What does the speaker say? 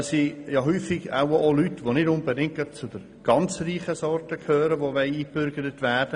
Aber das sind ja oft Leute, die eingebürgert werden möchten und nicht zu den Reichen gehören.